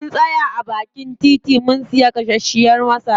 Mun tsaya a baakin titi mun siya gasashiyar masara.